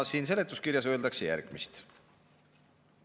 Siin seletuskirjas öeldakse järgmist.